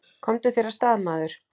Komdu þér af stað, maður!